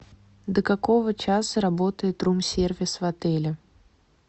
до какого часа работает рум сервис в отеле